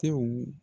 Tew